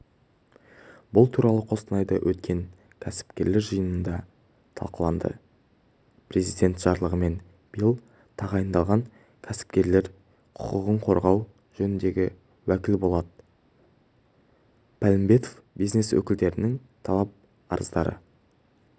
бұл туралы қостанайда өткен кәсіпкерлер жиынында талқыланды президент жарлығымен биыл тағайындалған кәсіпкерлер құқығын қорғау жөніндегі уәкіл болат палымбетов бизнес өкілдерінің талап-арыздары